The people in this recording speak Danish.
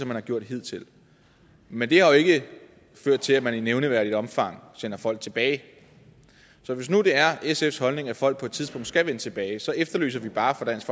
man har gjort hidtil men det har jo ikke ført til at man i nævneværdigt omfang sender folk tilbage så hvis nu det er sfs holdning at folk på et tidspunkt skal vende tilbage så efterlyser vi bare fra dansk